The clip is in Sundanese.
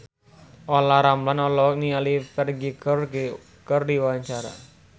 Olla Ramlan olohok ningali Ferdge keur diwawancara